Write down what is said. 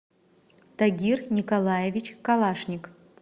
тагир николаевич калашник